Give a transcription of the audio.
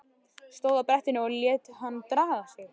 Stóð á brettinu og lét hann draga sig.